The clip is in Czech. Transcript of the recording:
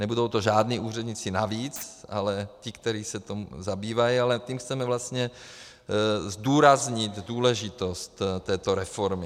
Nebudou to žádní úředníci navíc, ale ti, kteří se tím zabývají, ale tím chceme vlastně zdůraznit důležitost této reformy.